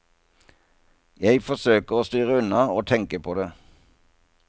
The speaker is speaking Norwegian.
Jeg forsøker å styre unna å tenke på det.